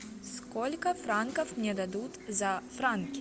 сколько франков мне дадут за франки